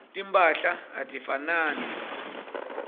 timphahla atifanani